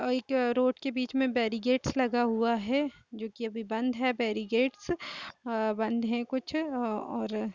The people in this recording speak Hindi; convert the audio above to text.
एक रोड के बीच में बैरिगेट्स लगा हुआ है जो की अभी बंद है बैरिगेट्स बंद है कुछ और--